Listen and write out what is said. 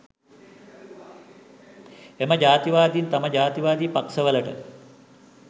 එම ජාතිවාදීන් තම ජාතිවාදී පක්ෂවලට